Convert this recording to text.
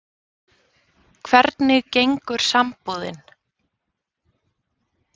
Hvernig gengur sambúðin?